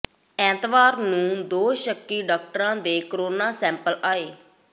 ਐਤਵਾਰ ਨੂੰ ਦੋ ਸ਼ੱਕੀ ਡਾਕਟਰਾਂ ਦੇ ਕੋਰੋਨਾ ਸੈਂਪਲ ਲਏ